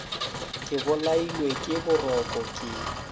ke bolailwe ke boroko ke